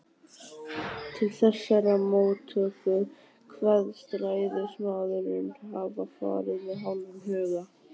Til þessarar móttöku kveðst ræðismaðurinn hafa farið með hálfum huga.